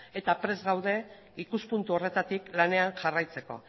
eta prest gaude ikuspuntu horretatik lanean jarraitzeko